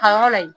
Ka yɔrɔ la yen